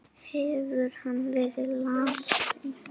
Hefur hann verið lasinn?